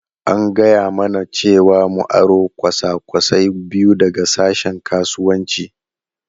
An gaya mana cewa mu aro kwasa-kwasai biyu daga sashen Kasuwanci.